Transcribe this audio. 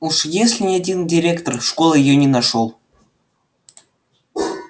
уж если ни один директор школы её не нашёл